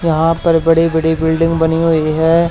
यहां पर बड़े बड़े बिल्डिंग बनी हुई है।